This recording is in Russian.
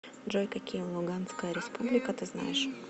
джой какие луганская республика ты знаешь